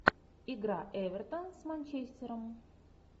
игра эвертон с манчестером